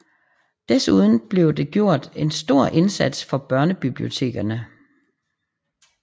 Desuden blev det gjort en stor indsats for børnebibliotekerne